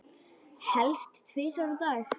Helst tvisvar á dag.